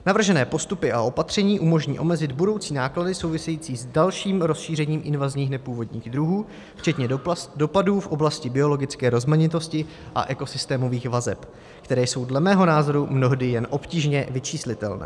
Navržené postupy a opatření umožní omezit budoucí náklady související s dalším rozšířením invazních nepůvodních druhů včetně dopadů v oblasti biologické rozmanitosti a ekosystémových vazeb, které jsou dle mého názoru mnohdy jen obtížně vyčíslitelné.